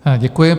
Děkuji.